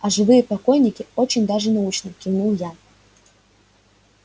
а живые покойники очень даже научны кивнул я